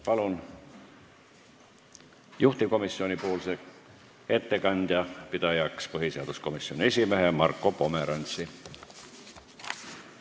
Palun juhtivkomisjoni ettekande pidajaks põhiseaduskomisjoni esimehe Marko Pomerantsi!